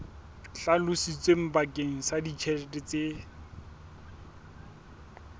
hlalositsweng bakeng sa ditjhelete tse